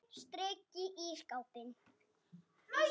Beint strik í ísskápinn.